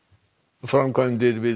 framkvæmdir við